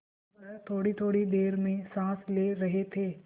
वह थोड़ीथोड़ी देर में साँस ले रहे थे